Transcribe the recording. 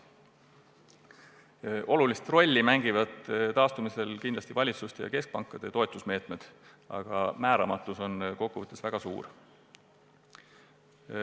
Taastumisel mängivad kindlasti olulist rolli valitsuste ja keskpankade toetusmeetmed, aga määramatus on kokkuvõttes väga suur.